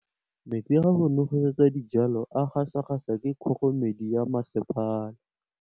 Metsi a go nosetsa dijalo a gasa gasa ke kgogomedi ya masepala.